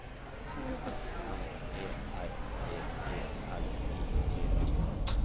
S M E R T E L I G